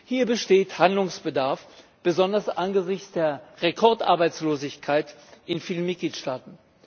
Hier besteht Handlungsbedarf, besonders angesichts der Rekordarbeitslosigkeit in vielen Mitgliedstaaten.